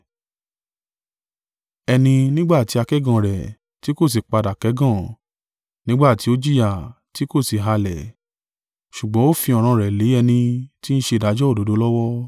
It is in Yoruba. Ẹni, nígbà tí a kẹ́gàn rẹ̀, tí kò sì padà kẹ́gàn; nígbà tí ó jìyà tí kò sì halẹ̀; ṣùgbọ́n ó fi ọ̀ràn rẹ̀ lé ẹni ti ń ṣe ìdájọ́ òdodo lọ́wọ́.